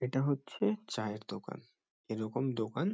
এটা হচ্ছে চায়ের দোকান। এরকম দোকান--